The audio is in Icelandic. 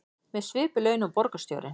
Með svipuð laun og borgarstjórinn